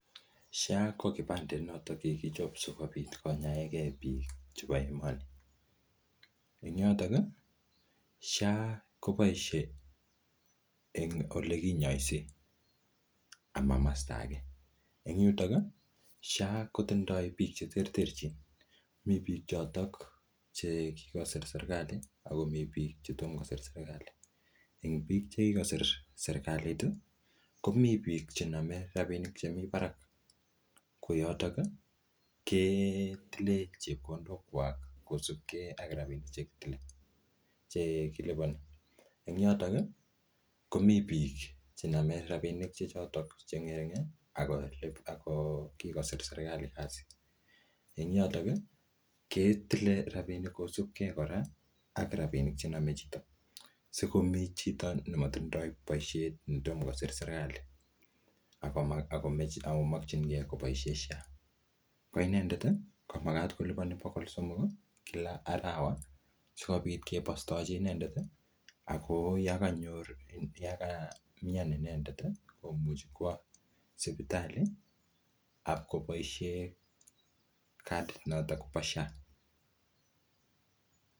SHA ko kibandet notok kikichop sikobit konyaegei biik chebo iman. Ing yotok, SHA koboise eng ole kinyaisie, ama masta age. Eng yutok, SHA kotindoi biik che terterchin. Mii biik chotok che kikosir serikali, akomii biik chetom kosir serikali. Eng biik che kikosir serikalit, komii biik chename rabinik che mii barak. Ko yotok, ketile chepkondok kwak kosupkei ak rabinik che kitile, che kilipani. Eng yotok, komii biik chename rabinik che chotok che ngering, ako kikosor serikali kasi. Eng yotok, ketile rabinik kosubkei kora ak rabinik chename chito. Sikomii chito nematindoi boisiet, netomo kosir serikali, akomakchinkei koboisie SHA. Ko inendet, ko magat kolipani bogol somok kila arawa, sikobit kebostochi inendet. Ako yakanyor, yakamyan inendet, komuchi kwo sipitali, apkoboisie kadit notok po SHA